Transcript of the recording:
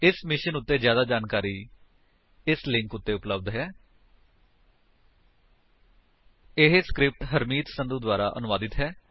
ਇਸ ਮਿਸ਼ਨ ਉੱਤੇ ਜਿਆਦਾ ਜਾਣਕਾਰੀ spoken hyphen tutorial dot org slash NMEICT hyphen intro ਉੱਤੇ ਉਪਲੱਬਧ ਹੈ ਇਹ ਸਕਰਿਪਟ ਹਰਮੀਤ ਸੰਧੂ ਦੁਆਰਾ ਅਨੁਵਾਦਿਤ ਹੈ